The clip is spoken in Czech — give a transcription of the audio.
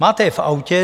Máte je v autě.